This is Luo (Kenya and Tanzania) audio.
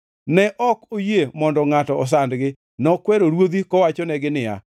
Ne ok oyie mondo ngʼato osandgi, nokwero ruodhi kowachonegi niya,